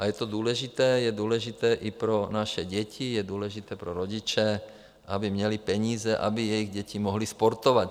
A je to důležité, je důležité i pro naše děti, je důležité pro rodiče, aby měli peníze, aby jejich děti mohly sportovat.